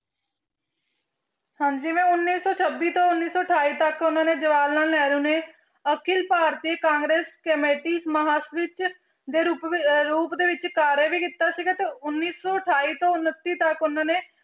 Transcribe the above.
ਹਾਂਜੀ ਮੈਂ ਉੱਨੀ ਸੌ ਛੱਬੀ ਤੋਂ ਉੱਨੀ ਸੌ ਅਠਾਈ ਤੱਕ ਉਹਨਾਂ ਨੇ ਜਵਾਹਰ ਲਾਲ ਨਹਿਰੂ ਨੇ ਅਖਿਲ ਭਾਰਤੀ ਕਾਂਗਰਸ ਕਮੇਟੀ ਦੇ ਰੂਪ ਅਹ ਰੂਪ ਦੇ ਵਿੱਚ ਕਾਰਯ ਵੀ ਕੀਤਾ ਸੀਗਾ ਤੇ ਉੱਨੀ ਸੌ ਅਠਾਈ ਤੋਂ ਉਣੱਤੀ ਤੱਕ ਉਹਨਾਂ ਨੇ